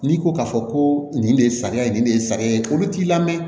N'i ko k'a fɔ ko nin de ye sariya ye nin de ye sariya ye olu t'i lamɛn